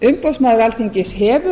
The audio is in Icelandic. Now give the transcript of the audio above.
umboðsmaður alþingis hefur